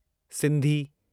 Sindhi